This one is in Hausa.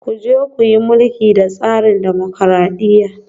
Ku je ku yi mulki da tsarin dimokuradiyya